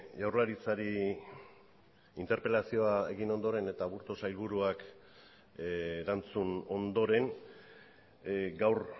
jaurlaritzari interpelazioa egin ondoren eta aburto sailburuak erantzun ondoren gaur